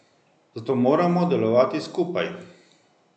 Zato moramo delovati skupaj.